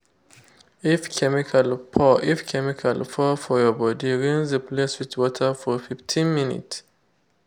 if chemical pour if chemical pour for your body rinse the place with water for 15 minutes.